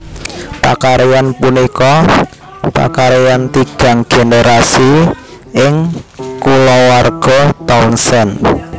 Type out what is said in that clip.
Pakaryan punika pakrayan tigang generasi ing kulawarga Townsend